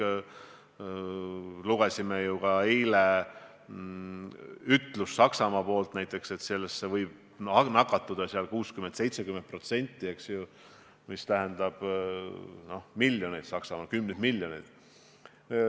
Eile me lugesime näiteks Saksamaa prognoosi, et sellesse võib nakatuda 60–70% elanikest, mis tähendab Saksamaal kümneid miljoneid.